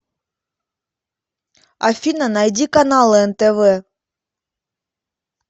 афина найди каналы нтв